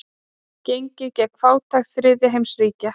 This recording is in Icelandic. Gengið gegn fátækt þriðja heims ríkja.